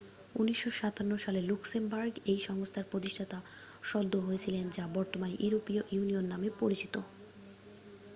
1957 সালে লুক্সেমবার্গ এই সংস্থার প্রতিষ্ঠাতা সদস্য হয়েছিলেন যা বর্তমানে ইউরোপীয় ইউনিয়ন নামে পরিচিত